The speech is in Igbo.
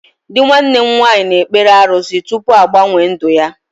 Dị nwanne m nwaanyị na ekpere arụsị tụpụ agbanwe ndụ ya